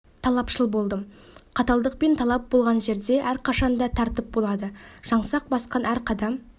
талапшыл болдым қаталдық пен талап болған жерде әрқашан да тәртіп болады жаңсақ басқан әр қадам